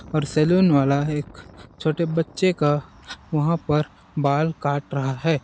और सैलून वाला है एक छोटे बच्चे का वहाँ पर बाल काट रहा है।